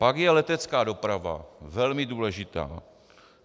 Pak je letecká doprava - velmi důležitá.